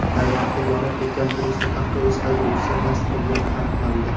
Tayvanda yonib ketgan turistik avtobus haydovchisi mast bo‘lgani aniqlandi.